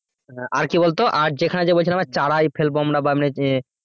আর আর কি বলতো, আর যেখানে যে বলছিলাম